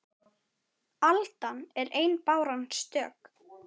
Aldan er ein báran stök